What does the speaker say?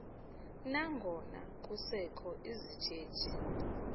nangona kusekho izithethi